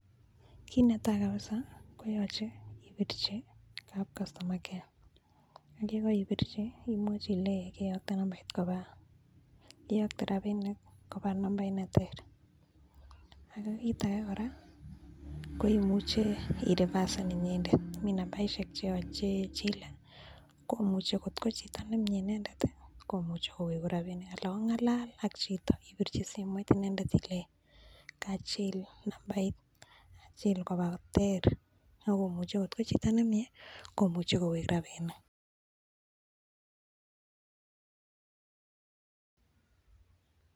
Kit netai kabisa koyoche ipirchi kap customer care ye koipirchi imwochi ilenji keyokte rabinik koba nambait ne ter ak kit age kora koimuche irevasen inyendet mi nambaishek che chile. Kot ko chito nemye inendet komuche kowek rabinik anan ong'alal ak chito ibirchi simoit inendet ilenchi kachil nambait achil koba ter, ak komuche, kot ko chito nemye komuche kowekrabinik.